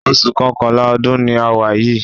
Oṣù Kọkànlá ọdún ni a wà yìí